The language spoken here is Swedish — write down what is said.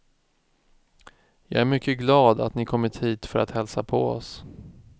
Jag är mycket glad, att ni kommit hit för att hälsa på oss.